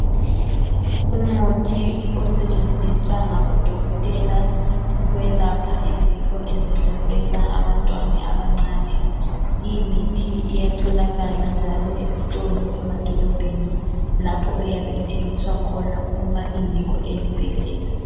Umuthi osetshenziswa ngaboDokotela ukwelapha izifo ezihlasela abantwana abancane, limithi iyatholakala njalo ezitolo, emadolobheni lapho eyabe ithengiswa khona uma ingekho ezibhedlela.